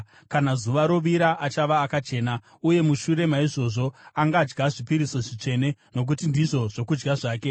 Kana zuva rovira, achava akachena, uye mushure maizvozvo angadya zvipiriso zvitsvene, nokuti ndizvo zvokudya zvake.